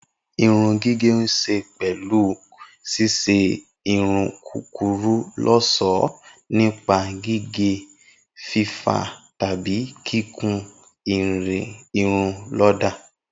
Irun gígẹ̀ ní ṣe pẹlu ṣíṣe irun kúkúrú lọ́ṣọ̀ọ́ nípa gígé, fífá tàbí kíkun irun lọ́dà